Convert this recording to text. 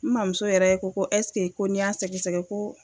N mamuso yɛrɛ ko ko ɛseke ko n'i y'a sɛgɛsɛgɛ ko